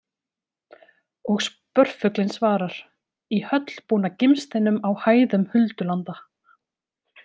Og spörfuglinn svarar: Í höll búna gimsteinum á hæðum huldulanda